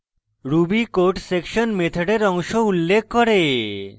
ruby code section মেথডের অংশ উল্লেখ করে